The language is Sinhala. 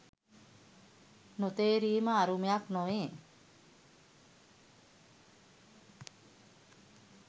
නොතේරීම අරුමයක් නොවේ.